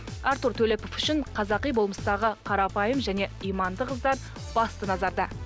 артур төлепов үшін қазақи болмыстағы қарапайым және иманды қыздар басты назарда